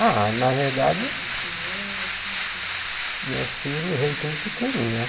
Ah, na verdade, meus filhos vieram tudo pequeno, né?